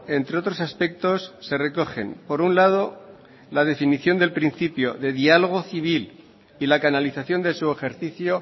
entre otros aspectos se recogen por un lado la definición del principio de diálogo civil y la canalización de su ejercicio